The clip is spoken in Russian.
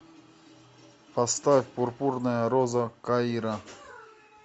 поставь пурпурная роза каира